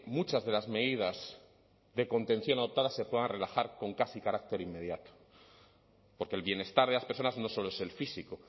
muchas de las medidas de contención adoptadas se puedan relajar con casi carácter inmediato porque el bienestar de las personas no solo es el físico